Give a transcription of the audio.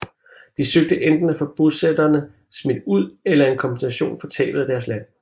De søgte enten at få bosætterne smidt ud eller en kompensation for tabet af deres land